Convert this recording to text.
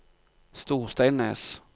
Storsteinnes